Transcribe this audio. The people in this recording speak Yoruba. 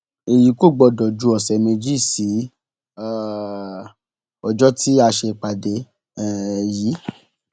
èyí kò gbọdọ ju ọsẹ méjì sí um ọjọ tí a ṣe ìpàdé um yìí